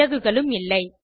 விறகுகளும் இல்லை